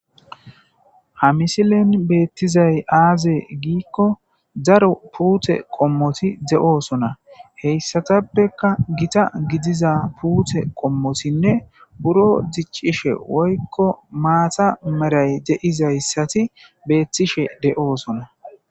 ha misilen beettizay aaze giikko daro puute qommoti de'oosona heyssatappeka gita gidiza puute qommotinne buro diccishe woykko maata meray de'izayssati beettishe de'oosona